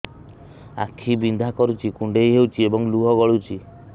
ଆଖି ବିନ୍ଧା କରୁଛି କୁଣ୍ଡେଇ ହେଉଛି ଏବଂ ଲୁହ ଗଳୁଛି